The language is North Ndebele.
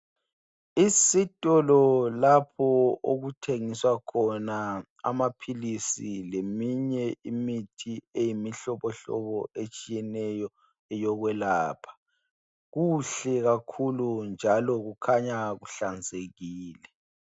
Isitolo lapho okuthengiswa khona amaphilisi leminye imithi eyimihlobohlobo etshiyeneyo yokwelapha. Kuhle kakhulu njalo kukhanya kuhlanzekile.